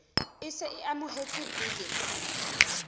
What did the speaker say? e se e amohetswe biling